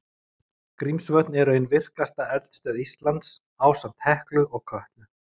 Grímsvötn eru ein virkasta eldstöð Íslands, ásamt Heklu og Kötlu.